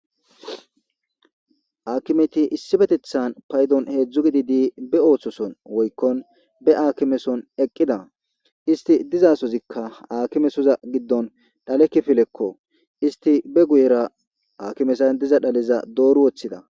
Akimeti issipetethan paydon hedzdzu gididi be osos on woykon be akeskon eqida isto dizayssika alimesozan shale kifileko , istika be guyezan dark dhaleta doori wothoda